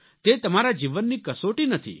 તે તમારા જીવનની કસોટી નથી